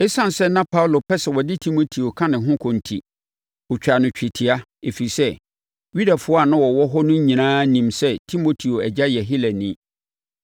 Esiane sɛ na Paulo pɛ sɛ ɔde Timoteo ka ne ho kɔ enti, ɔtwaa no twetia, ɛfiri sɛ, Yudafoɔ a na wɔwɔ hɔ no nyinaa nim sɛ Timoteo agya yɛ Helani.